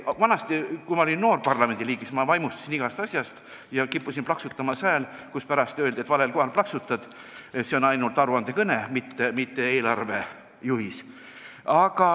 Vanasti, kui ma olin noor parlamendiliige, siis ma vaimustusin igast asjast ja kippusin plaksutama ka sellisel kohal, et pärast öeldi, et valel kohal plaksutasid, see oli ainult aruandekõne, mitte eelarvejuhis.